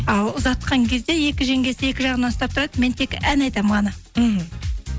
ал ұзатқан кезде екі жеңгесі екі жағынан ұстап тұрады мен тек ән айтамын ғана мхм